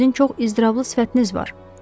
Sizin çox iztirablı sifətiniz var.